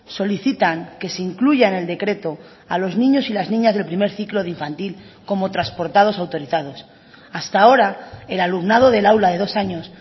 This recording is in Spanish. solicitan que se incluya en el decreto a los niños y las niñas del primer ciclo de infantil como transportados autorizados hasta ahora el alumnado del aula de dos años